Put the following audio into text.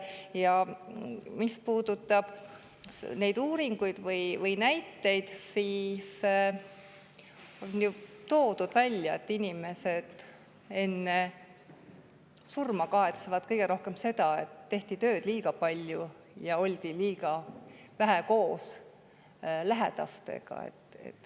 Ja mis puudutab neid uuringuid või näiteid, siis on toodud välja, et inimesed kahetsevad enne surma kõige rohkem seda, et tehti tööd liiga palju ja oldi liiga vähe koos lähedastega.